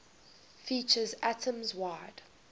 features atoms wide